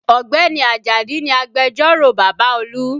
Ọ̀gbẹ́ni Ajadi ni agbẹjẹ́rò bàbá Olú